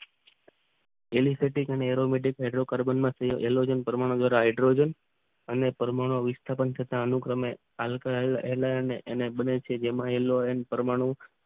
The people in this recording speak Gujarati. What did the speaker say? એલિસ્ટિટિક અને એરોમેટિક અદ્રો કાર્બનમાં પરમાણુ હાઇડ્રોજન અને પરમાણુ વિસ્થાપન થતા આંતર બને વચ્ચે જેમાં અલોરાન પરમાણુ